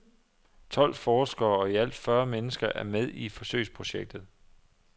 Tolv forskere og i alt fyrre mennesker er med i forsøgsprojektet.